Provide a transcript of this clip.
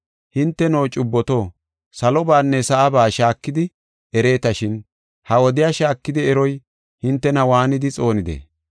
Hinteno, cubboto, Salobanne sa7aba shaakidi ereetashin ha wodiya shaakidi eroy hintena waanidi xoonidee?